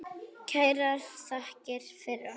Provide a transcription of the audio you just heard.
Kærar þakkir fyrir okkur.